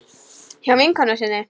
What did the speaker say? Hjá vinkonu sinni?